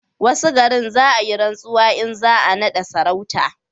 wasu garin, za a yi rantsuwa in za a nada maka sarauta